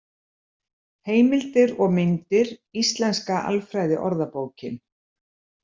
Heimildir og myndir Íslenska alfræðiorðabókin.